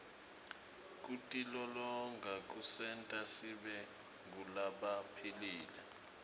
kutilolonga kusenta sibe ngulabaphilile